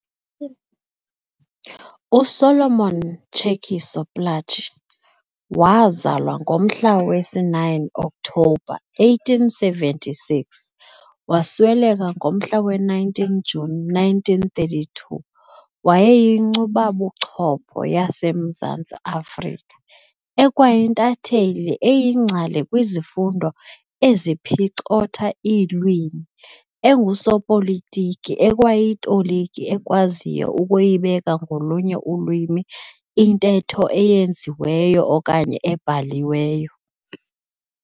USolomon Tshekisho Plaatje, waazalwa ngomhla wesi-9 October 1876 - wasweleka ngomhla we-19 June 1932, wayeyinkcubabuchopho yasemZantsi Afrika, ekwayintatheli, eyingcali kwizifundo eziphicotha iilwimi, engusopolitiki, ekwayitoliki ekwaziyo ukuyibeka ngolunye ulwimi intetho eyenziweyo okanye ebhaliweyo.